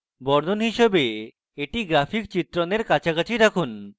বর্ণন হিসাবে এটি graphic চিত্রণের কাছাকাছি রাখুন